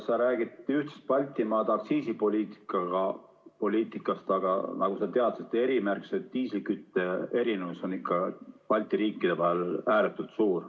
Sa räägid Baltimaade aktsiisipoliitikast, aga nagu sa tead, erimärgistatud diislikütuse hinna erinevus on Balti riikide vahel ääretult suur.